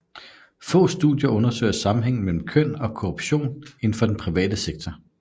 Få studier undersøger sammenhængen mellem køn og korruption inden for den private sektor